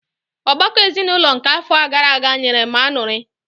Ọgbakọ ezinụlọ nke àfọ gaara aga nyere m añụrị.